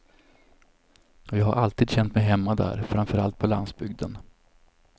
Och jag har alltid känt mig hemma där, framför allt på landsbygden.